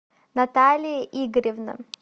наталья игоревна